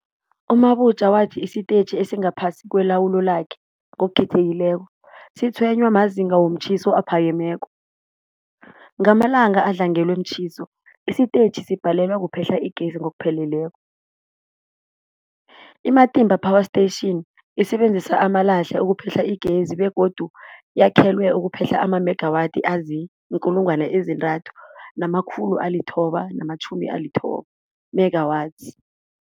U-Mabotja wathi isitetjhi esingaphasi kwelawulo lakhe, ngokukhethekileko, sitshwenywa mazinga womtjhiso aphakemeko. Ngamalanga adlangelwe mtjhiso, isitetjhi sibhalelwa kuphehla igezi ngokupheleleko. I-Matimba Power Station isebenzisa amalahle ukuphehla igezi begodu yakhelwe ukuphehla amamegawathi azii-3990 megawatts.